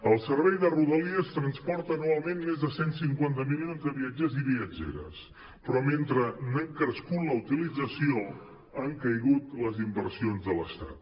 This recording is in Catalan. el servei de rodalies transporta anualment més de cent i cinquanta milions de viatgers i viatgeres però mentre n’ha crescut la utilització han caigut les inversions de l’estat